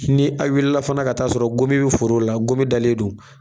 Ni a wilila fana ka taa sɔrɔ gomi bɛ foro la, gomi dalen don.